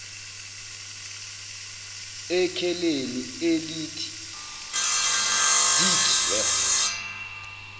ekheleni elithi deedsweb